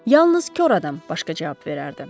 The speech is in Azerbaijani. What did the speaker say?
Yalnız kor adam başqa cavab verərdi.